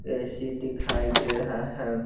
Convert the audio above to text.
AC दिखाई दे रहा है।